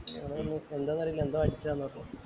ഞങ്ങൾ പറഞ്ഞു എന്താന്ന് അറിയില്ല എന്തോ വന്നു അടിച്ചതാണ് പറഞ്ഞു